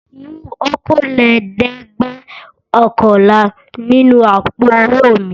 Mú okòólẹ́ẹ̀dẹ́gbẹ̀ọ̀kànlá nínú àpò-owó mi!